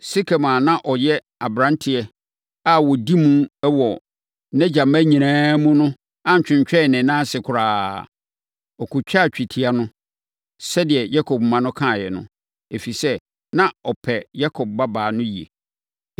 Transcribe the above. Sekem a na ɔyɛ aberanteɛ a ɔdi mu wɔ nʼagya mma nyinaa mu no antwentwɛn ne nan ase koraa. Ɔkɔtwaa twetia no, sɛdeɛ Yakob mma no kaeɛ no, ɛfiri sɛ, na ɔpɛ Yakob babaa no yie.